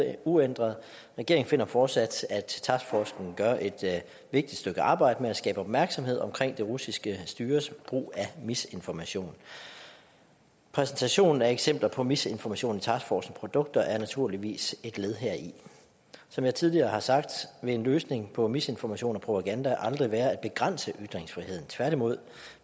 er uændret regeringen finder fortsat at taskforcen gør et vigtigt stykke arbejde med at skabe opmærksomhed om det russiske styres brug af misinformation præsentationen af eksempler på misinformation i taskforcens produkter er naturligvis et led heri som jeg tidligere har sagt vil en løsning på misinformation og propaganda aldrig være at begrænse ytringsfriheden tværtimod